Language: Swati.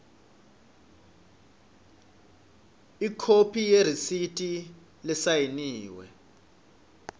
ikhophi yeresithi lesayiniwe